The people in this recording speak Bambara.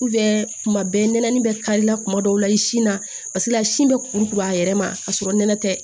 kuma bɛɛ nɛnɛ bɛ karila tuma dɔw la i sin na paseke sin bɛ kuru kuru a yɛrɛ ma k'a sɔrɔ nɛnɛ tɛ